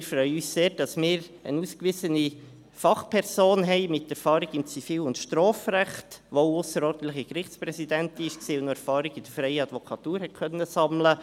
Wir freuen uns sehr, dass wir eine ausgewiesene Fachperson mit Erfahrung im Zivil- und Strafrecht haben, die auch ausserordentliche Gerichtspräsidentin war und Erfahrung in der freien Advokatur sammeln konnte.